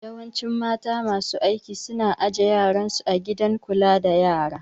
Yawancin mata masu aiki su na aje yaran su a gidan kula da yara